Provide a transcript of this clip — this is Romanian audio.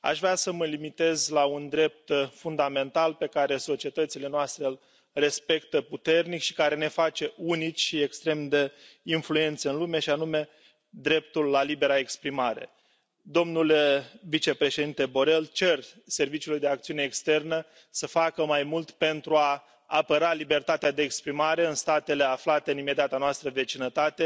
Aș vrea să mă limitez la un drept fundamental pe care societățile noastre îl respectă puternic și care ne face unici și extrem de influenți în lume, și anume dreptul la libera exprimare. Domnule vicepreședinte Borrell, cer Serviciului de Acțiune Externă să facă mai mult pentru a apăra libertatea de exprimare în statele aflate în imediata noastră vecinătate.